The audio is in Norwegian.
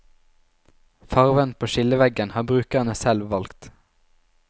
Farven på skilleveggen har brukerne selv valgt.